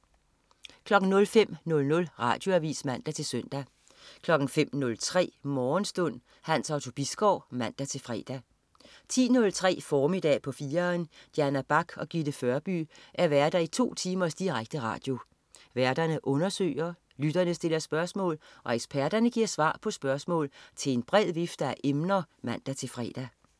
05.00 Radioavis (man-søn) 05.03 Morgenstund. Hans Otto Bisgaard (man-fre) 10.03 Formiddag på 4'eren. Diana Bach og Gitte Førby er værter i to timers direkte radio. Værterne undersøger, lytterne stiller spørgsmål, og eksperterne giver svar på spørgsmål til en bred vifte af emner (man-fre)